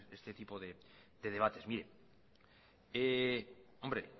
este tipo de debates bien hombre